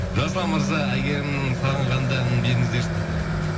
жасұлан мырза әйгерімнің сағынғанда әнін беріңіздерші дейді